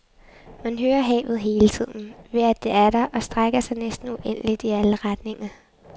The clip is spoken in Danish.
Man hører havet hele tiden, ved at det er der og strækker sig næsten uendeligt i alle retninger.